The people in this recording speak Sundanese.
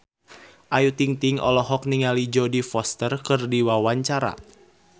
Ayu Ting-ting olohok ningali Jodie Foster keur diwawancara